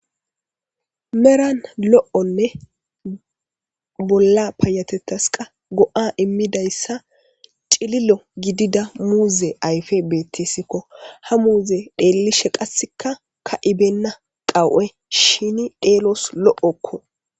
Meran lo'onne bolla payatetas qa go'a immidayssa cililo gidida muuze ayfe beettesikko ha muuze dhellishe qasseka ka'ibenna qawu'e shini dheelos lo'okko.